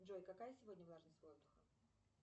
джой какая сегодня влажность воздуха